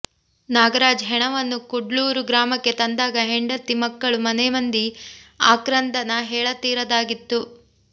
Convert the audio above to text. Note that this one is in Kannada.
ನಾಗರಾಜ್ ಹೆಣವನ್ನು ಕೂಡ್ಲೂರು ಗ್ರಾಮಕ್ಕೆ ತಂದಾಗ ಹೆಂಡತಿ ಮಕ್ಕಳು ಮನೆಮಂದಿಯ ಆಕ್ರಂದನ ಹೇಳತೀರದ್ದಾಗಿತ್ತು